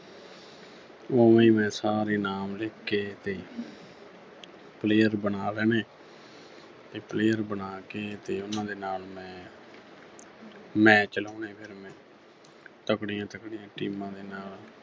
ਉਵੇਂ ਮੈਂ ਸਾਰੇ ਨਾਮ ਲਿਖ ਕੇ ਤੇ player ਬਣਾ ਲੈਣੇ ਤੇ player ਬਣਾ ਕੇ ਤੇ ਉਨ੍ਹਾਂ ਦੇ ਨਾਲ ਮੈਂ match ਲਾਉਣੇ ਫਿਰ ਮੈਂ ਤਕੜੀਆਂ-ਤਕੜੀਆਂ teams ਦੇ ਨਾਲ